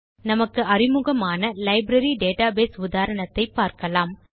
நமக்கு அறிமுகமான library database உதாரணத்தை பார்க்கலாம்